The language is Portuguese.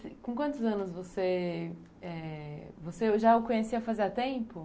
E com quantos anos você... É... Você já o conhecia fazia tempo?